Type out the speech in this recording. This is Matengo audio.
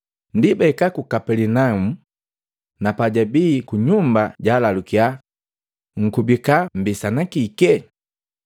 Ndi bahika ku Kapelinaumu, na pajabii kunyumba jwaalalukia, “Nkubika mmbisani kike?”